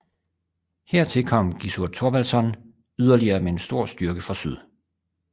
Hertil kom Gissur Þorvaldsson yderligere med en stor styrke fra syd